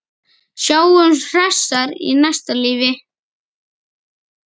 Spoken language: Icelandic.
Sjáumst hressar í næsta lífi.